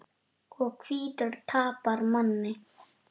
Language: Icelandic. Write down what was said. Og hvítur tapar manni.